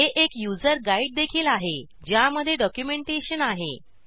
हे एक यूज़र गाईडदेखील आहे ज्या मध्ये डॉक्यूमेंटेशन आहे